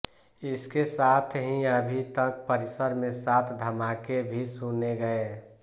इसके साथ ही अभी तक परिसर में सात धमाके भी सुने गए